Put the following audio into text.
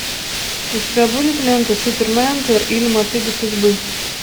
у тебя будет лента суперменеджер или мотыга судьбы